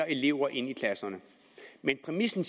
elever ind i klasserne men præmissen